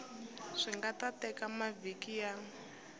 swi nga teka mavhiki ya